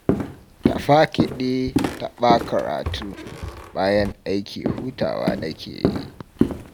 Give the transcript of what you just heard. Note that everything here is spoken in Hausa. Taɓa kiɗi ne fa taɓa karatu. Bayan aiki hutawa nake yi